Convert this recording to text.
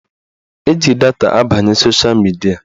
Eji data abanye sosha midia